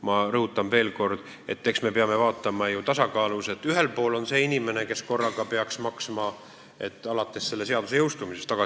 Ma rõhutan veel kord, et me peame asju vaatama tasakaalus: ühel pool on see inimene, kes peaks alates selle seaduse jõustumisest pikemat aega maksma.